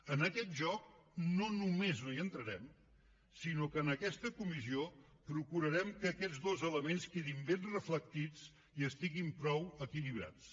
en aquest joc no només no hi entrarem sinó que en aquesta comissió procurarem que aquests dos elements quedin ben reflectits i estiguin prou equilibrats